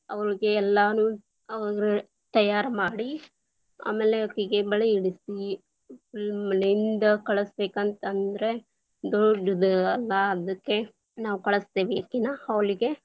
ಅವ್ರೀಗೆ ಎಲ್ಲಾನು ಅಂದ್ರೆ ತಯಾರು ಮಾಡಿ, ಆಮೇಲೆ ಅಕಿಗೆ ಬಳೆ ಇಡಿಸಿ, ಮನೆಯಿಂದ ಕಳಿಸಬೇಕಂತ ಅಂದ್ರೆ, ದೊಡ್ಡದ ಅಲಾ, ಅದಕ್ಕೆ ನಾವ್ ಕಳಿಸ್ತೇವ ಅಕಿನ hall lang:Foreign ಗೆ.